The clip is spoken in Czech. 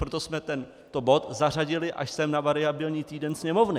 Proto jsme tento bod zařadili až sem na variabilní týden Sněmovny.